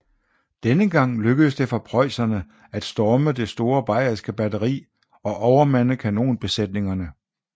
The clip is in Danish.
Denne gang lykkedes det for preusserne at storme det store bayerske batteri og overmande kanonbesætningerne